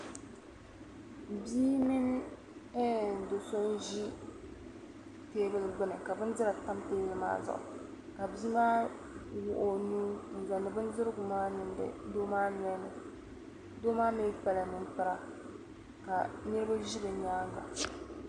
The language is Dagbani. Bia mini do'so ʒi teebuli gbuni ka bindira pa teebuli maa zuɣu ka bia maa wɔɣi o nuu zaŋdi bindirigu niŋdi doo maa noli ni doo maa mi kpala ninkpara ka niriba ʒi bɛ nyaaŋa.